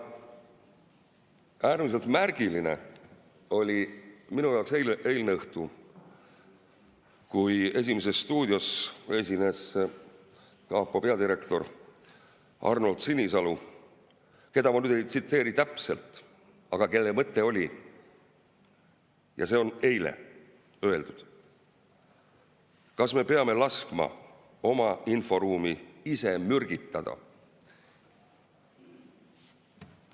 Äärmiselt märgiline oli minu jaoks eilne õhtu, kui "Esimeses stuudios" esines kapo peadirektor Arnold Sinisalu, keda ma ei tsiteeri täpselt, aga kelle mõte oli – ja see on eile öeldud –: kas me peame laskma oma inforuumi ise mürgitada?